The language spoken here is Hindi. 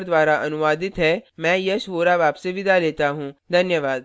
यह स्क्रिप्ट प्रभाकर द्वारा अनुवादित है मैं यश वोरा अब आपसे विदा लेता हूँ धन्यवाद